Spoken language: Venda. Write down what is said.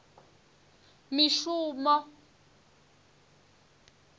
mishumo